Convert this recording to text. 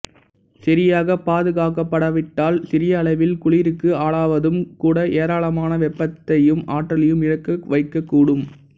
சரியாக பாதுகாக்கப்படாவிட்டால் சிறிய அளவில் குளிருக்கு ஆளாவதும் கூட ஏராளமான வெப்பத்தையும் ஆற்றலையும் இழக்க வைக்கக்கூடும்